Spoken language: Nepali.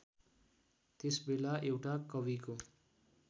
त्यसबेला एउटा कविको